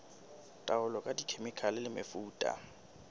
taolo ka dikhemikhale le mefuta